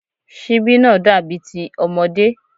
Síbí náà dàbí ti ọmọdé